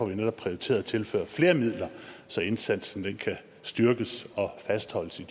vi netop prioriteret at tilføre flere midler så indsatsen kan styrkes og fastholdes i